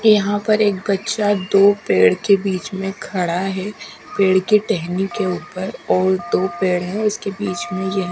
यहां पर एक बच्चा दो पेड़ के बीच में खड़ा है पेड़ के टहनी के ऊपर और दो पेड़ है उसके बीच में यह--